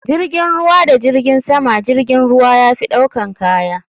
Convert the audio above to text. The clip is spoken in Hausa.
jirgin ruwa da jirgin sama jirgin ruwa yafi ɗaukan kaya.